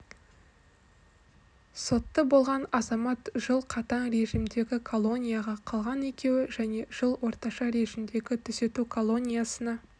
сотты болған азамат жыл қатаң режимдегі колонияға қалған екеуі және жыл орташа режимдегі түзету колониясына